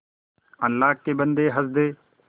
अल्लाह के बन्दे हंस दे